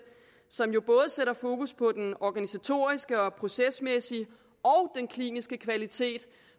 som jo sætter fokus på både den organisatoriske procesmæssige og kliniske kvalitet